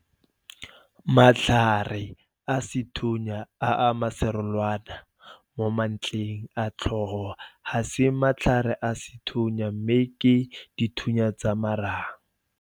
Matlhare a sethunya a maserolwana momantleng a tlhogo ga se matlhare a sethunya mme ke 'dithunya tsa marang'.